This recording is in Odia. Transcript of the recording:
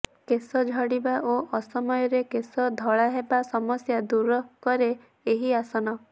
କେଶ ଝଡ଼ିବା ଓ ଅସମୟରେ କେଶ ଧଳା ହେବା ସମସ୍ୟା ଦୂରକରେ ଏହି ଆସନ